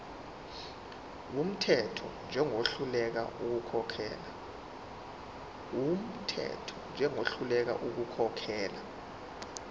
wumthetho njengohluleka ukukhokhela